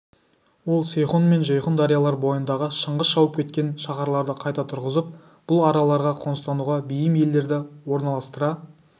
ол сейхұн мен жейхұн дариялар бойындағы шыңғыс шауып кеткен шаһарларды қайта тұрғызып бұл араларға қоныстануға бейім елдерді орналастыра